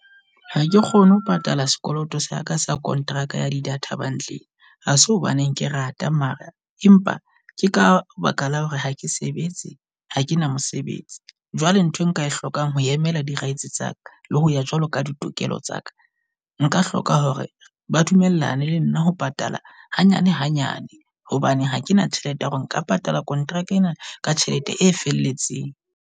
Ha ke kgone ho patala sekoloto saka sa kontraka ya di data bundle. Ha se hobaneng ke rate mara empa ke ka baka la hore ha ke sebetse ha kena mosebetsi. Jwale nthwe nka e hlokang ho emela di rights tsa ka. Le ho ya jwalo ka ditokelo tsa ka, nka hloka hore ba dumellane le nna ho patala hanyane hanyane. Hobane hakena tjhelete ya hore nka patala contract ena ka tjhelete e felletseng.